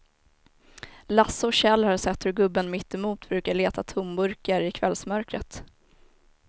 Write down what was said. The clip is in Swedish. Lasse och Kjell har sett hur gubben mittemot brukar leta tomburkar i kvällsmörkret.